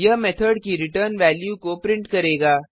यह मेथड की return value को प्रिंट करेगा